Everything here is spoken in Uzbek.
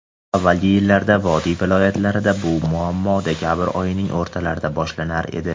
Avvalgi yillarda vodiy viloyatlarida bu muammo dekabr oyining o‘rtalarida boshlanar edi.